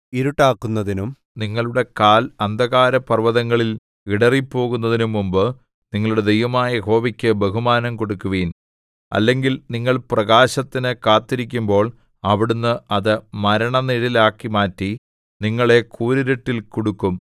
ഇരുട്ടാകുന്നതിനും നിങ്ങളുടെ കാൽ അന്ധകാരപർവ്വതങ്ങളിൽ ഇടറിപ്പോകുന്നതിനും മുമ്പ് നിങ്ങളുടെ ദൈവമായ യഹോവയ്ക്ക് ബഹുമാനം കൊടുക്കുവിൻ അല്ലെങ്കിൽ നിങ്ങൾ പ്രകാശത്തിനു കാത്തിരിക്കുമ്പോൾ അവിടുന്ന് അത് മരണ നിഴലാക്കി മാറ്റി നിങ്ങളെ കൂരിരുട്ടിൽ കുടുക്കും